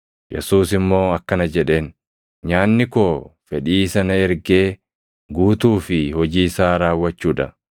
Yesuus immoo akkana jedheen; “Nyaanni koo fedhii isa na ergee guutuu fi hojii isaa raawwachuu dha.